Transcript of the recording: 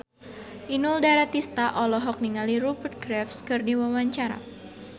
Inul Daratista olohok ningali Rupert Graves keur diwawancara